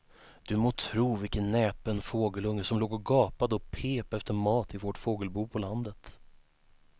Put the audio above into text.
Du må tro vilken näpen fågelunge som låg och gapade och pep efter mat i vårt fågelbo på landet.